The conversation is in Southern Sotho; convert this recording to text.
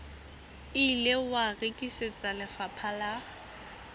ile wa rekisetswa lefapha la